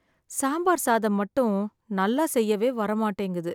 சாம்பார் சாதம் மட்டும் நல்லா செய்யவே வர மாட்டிங்குது